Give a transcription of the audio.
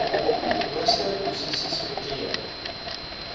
hoogste posisies beklee